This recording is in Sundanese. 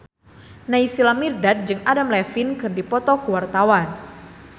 Naysila Mirdad jeung Adam Levine keur dipoto ku wartawan